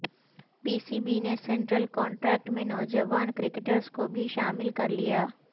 پی C B نے central contract میں نوجوان کرکٹرز کو بھی شامل کرلیا